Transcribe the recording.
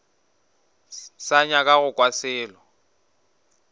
sa nyaka go kwa selo